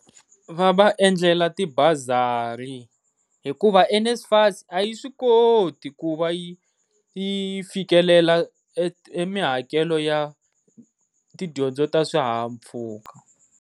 Va va endlela ti bazari hikuva NSFAS a yi swi koti ku va i i fikelela mihakelo ya tidyondzo ta swihaha-mpfhuka.